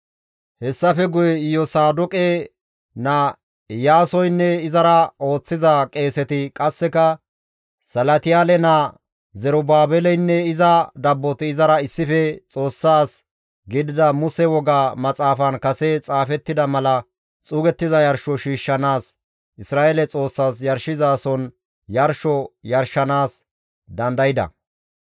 Hessafe guye Iyosaadoqe naa Iyaasoynne izara ooththiza qeeseti qasseka Salatiyaale naa Zerubaabeleynne iza dabboti izara issife Xoossa as gidida Muse woga maxaafan kase xaafettida mala xuugettiza yarsho shiishshanaas Isra7eele Xoossas yarshizason yarsho yarshanaas dandayda.